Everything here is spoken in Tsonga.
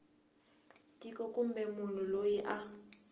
tiko kumbe munhu loyi a